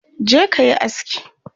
je kayi aski!